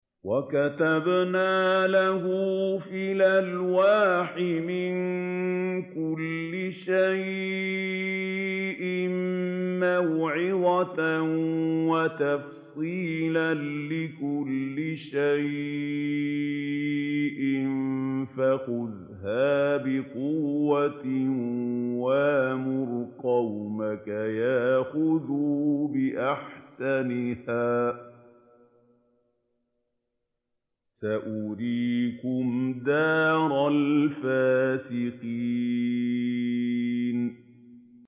وَكَتَبْنَا لَهُ فِي الْأَلْوَاحِ مِن كُلِّ شَيْءٍ مَّوْعِظَةً وَتَفْصِيلًا لِّكُلِّ شَيْءٍ فَخُذْهَا بِقُوَّةٍ وَأْمُرْ قَوْمَكَ يَأْخُذُوا بِأَحْسَنِهَا ۚ سَأُرِيكُمْ دَارَ الْفَاسِقِينَ